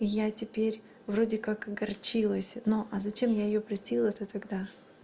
я теперь вроде как огорчилась но а зачем я её простила то тогда